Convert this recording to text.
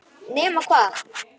Nema hvað!